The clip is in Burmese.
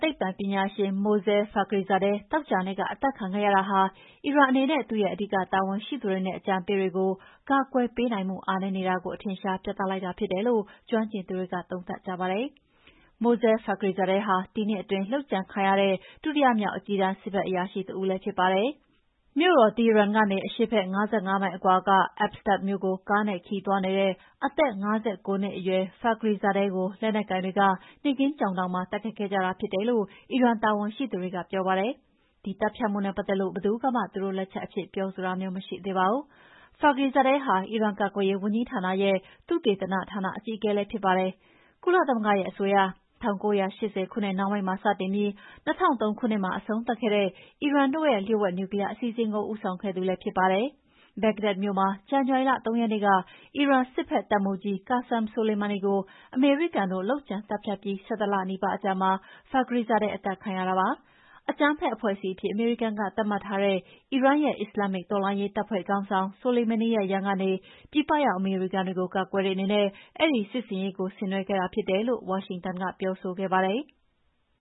သိပ္ပံပညာရှင် Mohsen Fakhrizadeh သောကြာနေ့က အသတ်ခံခဲ့ရတာဟာ အီရန်အနေနဲ့ သူ့ရဲ့ အဓိကတာဝန်ရှိသူတွေနဲ့ အကြံပေးတွေကို ကာကွယ်ပေးနိုင်မှု အားနည်းနေတာကို အထင်အရှား ပြလိုက်တာဖြစ်တယ်လို့ ကျွမ်းကျင်သူတွေက သုံးသပ်ကြပါတယ်။ Mohsen Fakhrizadeh ဟာ ဒီနှစ်အတွင်း လုပ်ကြံခံရတဲ့ ဒုတိယမြောက် အကြီးတန်း စစ်ဘက်အရာရှိတဦးလည်း ဖြစ်ပါတယ်။ မြို့တော် Tehran ကနေ အရှေ့ဘက် ၅၅ မိုင်အကွာက Absard မြို့ကို ကားနဲ့ ခရီးသွားနေတဲ့ အသက် ၅၉ နှစ်အရွယ် Fakhrizadeh ကို လက်နက်ကိုင်တွေက နေ့ခင်းကြောင်တောင်မှာ တိုက်ခိုက်ခဲ့ကြတာဖြစ်တယ်လို့ အီရန်တာဝန်ရှိသူတွေက ပြောပါတယ်။ ဒီသတ်ဖြတ်မှုနဲ့ပတ်သက်လို့ ဘယ်သူကမှ သူတို့လက်ချက်အဖြစ် ပြောဆိုတာမျိုး မရှိသေးပါဘူး။ Fakhrizadeh ဟာ အီရန်ကာကွယ်ရေးဝန်ကြီးဌာနရဲ့ သုတေသနဌာန အကြီးအကဲ ဖြစ်ပါတယ်။ ကုလသမဂ္ဂရဲ့ အဆိုအရ ၁၉၈၀ ခုနှစ်နှောင်းပိုင်းမှာ စတင်ပြီး ၂၀၀၃ ခုနှစ်မှာ အဆုံးသတ်ခဲ့တဲ့ အီရန်တို့ရဲ့ လျှို့ဝှက် နျူကလီးယား အစီအစဉ်ကို ဦးဆောင်ခဲ့သူလည်း ဖြစ်ပါတယ်။ Bahhdad မြို့မှာ ဇန်နဝါရီလ ၃ ရက်နေ့က အီရန်စစ်ဘက်တပ်မှူးကြီး Qassem Soleimani ကို အမေရိကန်တို့ လုပ်ကြံသတ်ဖြတ်ပြီး ၁၁ လနီးပါးအကြာမှာ Fakhrizadeh အသတ်ခံရတာပါ။ အကြမ်းဖက်အဖွဲ့အစည်းအဖြစ် အမေရိကန်က သတ်မှတ်ထားတဲ့ အီရန်ရဲ့ အစ္စလာမ္မစ် တော်လှန်ရေးတပ်ဖွဲ့ခေါင်းဆောင် Soleimani ရဲ့ ရန်ကနေ ပြည်ပရောက် အမေရိကန်တွေကို ကာကွယ်တဲ့အနေနဲ့ အဲဒီစစ်ဆေင်ရေး ဆင်နွှဲခဲ့တာဖြစ်တယ်လို့ ဝါရှင်တန်က ပြောဆိုခဲ့ပါတယ်။